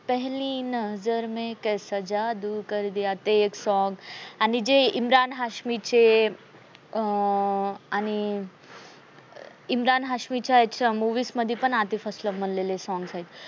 तेरी नजर मै कैसा जादू कर दीया ते एक song आणि जे इम्रान हासमी चे अं आणि इम्रान हासमी च्या याच्या movie मध्ये मधी पण आतिफ अस्लम ने मणलेले song आहेत.